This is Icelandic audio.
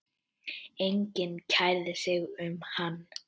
Enginn kærði sig um hann.